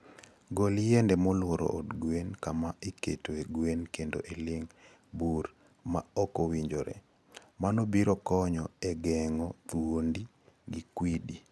Gol yiende molworo od gwen kama iketoe gwen kendo iling' bur ma ok owinjore. Mano biro konyo e geng'o thuonde gi kwidi.